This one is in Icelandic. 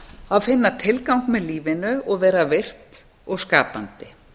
að finna tilgang með lífinu og vera virkt og skapandi